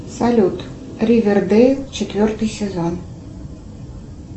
салют ривердейл четвертый сезон